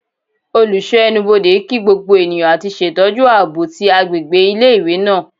oluso enubodè kí gbogbo eniyan ati ṣetọju aabo ti agbegbe ile-iwe naa